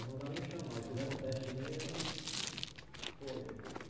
Aí mandaram me chamar, aí fizeram um teste em mim, eu foi.